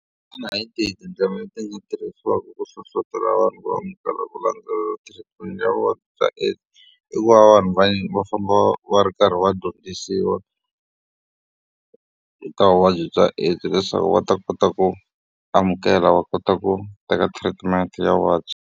Xana hi tindlela leti nga tirhisiwaka ku hlohlotelo vanhu va amukela ku landzelela treatment ya vuvabyi bya . I ku va vanhu va va famba va va ri karhi va dyondzisiwa eka vuvabyi bya AIDS leswaku va ta kota ku amukela va kota ku teka treatment ya vuvabyi.